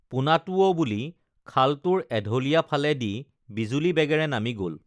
পোনাটো অ বুলি খালটোৰ এঢলীয়া ফালে দি বিজুলী বেগেৰে নামি গল